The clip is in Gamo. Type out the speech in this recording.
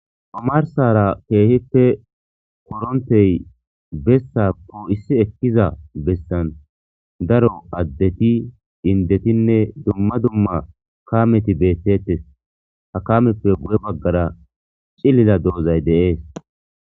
Amarsara keehippe korontey bessa po issi ekkiza bessan daro addeti indetinne dumma dumma kameti beettettes ha kameppe bu'e baggara cillila doozay deees